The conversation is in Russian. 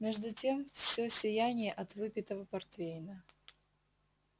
между тем все сияние от выпитого портвейна